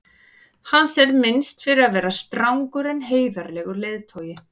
hans er minnst fyrir að vera strangur en heiðarlegur leiðtogi